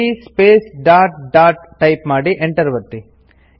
ಸಿಡಿಯ space dot dot type ಮಾಡಿ Enter ಒತ್ತಿ